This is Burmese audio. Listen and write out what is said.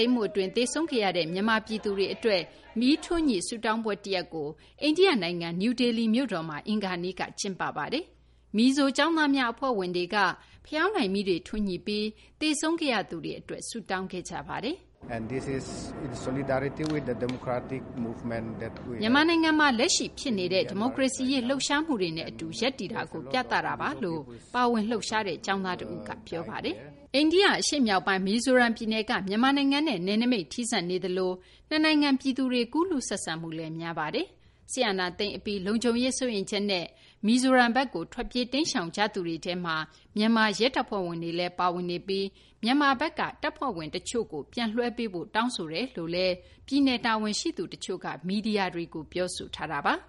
ိမ်းမှု အတွင်း သေဆုံးခဲ့ရတဲ့ မြန်မာ ပြည်သူတွေ အတွက် မီးထွန်းညှိ ဆုတောင်းပွဲ တရပ်ကို အိန္ဒိယ နိုင်ငံ နယူးဒေလီ မြို့တော်မှာ အင်္ဂါနေ့က ကျင်းပခဲ့ပါတယ်။ မီဇို ကျောင်းသားများ အဖွဲ့ဝင်တွေက ဖယောင်တိုင်မီးတွေ ထွန်းညှိပြီး သေဆုံးခဲ့ရသူတွေ အတွက် ဆုတောင်းခဲ့ကြတာပါ။ "မြန်မာနိုင်ငံမှာ လက်ရှိ ဖြစ်ပေါ်နေတဲ့ ဒီမိုကရေစီရေး လှုပ်ရှားမှုတွေနဲ့ အတူ ရပ်တည်တယ်ဆိုတာကို ပြသတာပါ" လို့ ပါဝင် လှုပ်ရှားသူ ကျောင်းသား တဦးက ပြောခဲ့တာပါ။ အိန္ဒိယ အရှေ့မြောက်ပိုင်း မီဇိုရမ် ပြည်နယ်က မြန်မာနဲ့ နယ်နိမိတ် ထိစပ်နေသလို နှစ်နိုင်ငံ ပြည်သူတွေ ကူးလူး ဆက်ဆံမှုလည်း များပါတယ်။ စစ်အာဏာသိမ်းမှု အပြီး လုံခြုံရေး စိုးရိမ်ချက်နဲ့ မီဇိုရမ်ဘက်ကို ထွက်ပြေး တိမ်းရှောင်နေကြသူတွေထဲမှာ မြန်မာ ရဲတပ်ဖွဲ့ဝင်တွေလည်း ပါဝင်နေပြီး မြန်မာဘက်က တပ်ဖွဲ့ဝင် တချို့ကို ပြန်လွှဲပေးဖို့ တောင်းဆိုထားကြောင်းလည်း ပြည်နယ် တာဝန်ရှိသူ တချို့က မီဒီယာတွေကို ပြောဆိုထားတာပါ။